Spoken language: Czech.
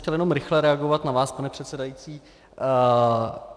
Chtěl jsem rychle reagovat na vás, pane předsedající.